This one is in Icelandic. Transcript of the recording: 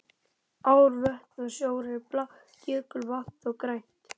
Ár, vötn og sjór er blátt, jökulvatn þó grænt.